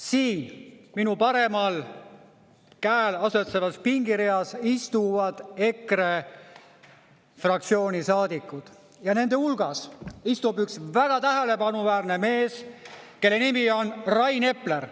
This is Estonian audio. Siin minu paremal käel asetsevas pingereas istuvad EKRE fraktsiooni saadikud ja nende hulgas istub üks väga tähelepanuväärne mees, kelle nimi on Rain Epler.